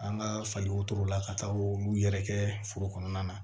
An ka fali wotoro la ka taa olu yɛrɛ kɛ foro kɔnɔna na